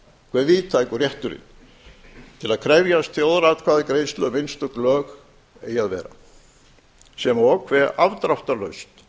hve víðtækur rétturinn til að krefjast þjóðaratkvæðagreiðslu um einstök lög eigi að vera sem og hve afdráttarlaust